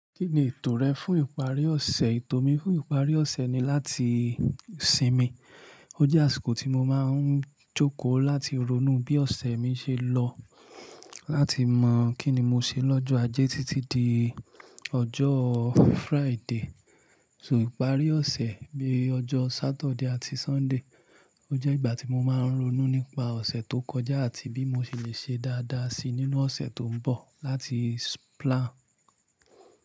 Kí ni ètò rẹ fún ìparí ọ̀sẹ̀? Ètò mi fún ìparí ọ̀sẹ̀ ni láti sinmi. Ó jé àsìnkò tí mo máa n jòko láti ronú bí òsè mi se lo láti mọ̀ kín ni mo ṣe lọ́jọ́ Ajé títí di ọjọ́ Friday. So ìparí ọ̀sẹ̀ bíi ọjọ́ Saturday àti Sunday ó jẹ́ ìgbà tí mo máa ń ronú nípa ọ̀sẹ̀ tó kọjá àti bí mo ṣe lè ṣe dáadáa si nínú ọ̀sẹ̀ tó ń bọ̀ láti plan.